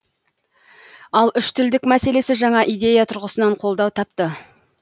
ал үштілдік мәселесі жаңа идея тұрғысынан қолдау тапты